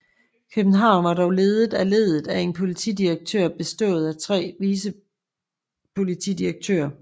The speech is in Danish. København var dog ledet af ledet af en politidirektør bistået af tre vicepolitidirektører